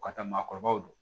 U ka taa maakɔrɔbaw don